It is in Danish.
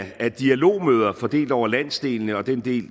af dialogmøder fordelt over landsdelene og den del